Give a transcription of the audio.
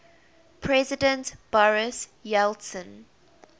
president boris yeltsin